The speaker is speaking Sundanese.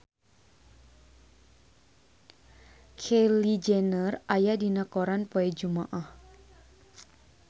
Kylie Jenner aya dina koran poe Jumaah